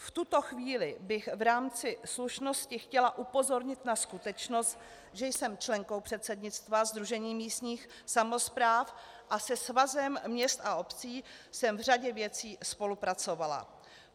V tuto chvíli bych v rámci slušnosti chtěla upozornit na skutečnost, že jsem členkou předsednictva Sdružení místních samospráv a se Svazem měst a obcí jsem v řadě věcí spolupracovala.